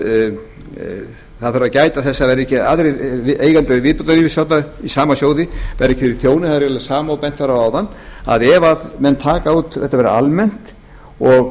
viðbótarlífeyrissparnaði í sama sjóði verði ekki fyrir tjóni það er eiginlega það sama sem bent var á áðan að ef menn taka út og þetta verði almennt og